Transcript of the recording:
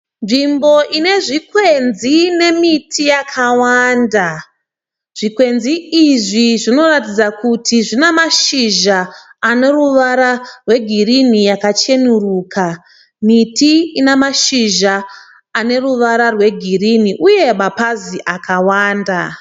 Nzvimbo inezvikwenzi nemiti yakawanda. Zvikwenzi izvi zvinoratidza kuti zvine mashizha aneruvara rwe girini yakacheneruka. Miti ina mashizha ane ruvara rwe girini uye mapazi akawanda .